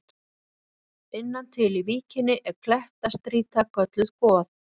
Innan til í víkinni er klettastrýta kölluð Goð.